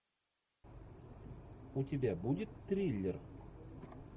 у тебя будет триллер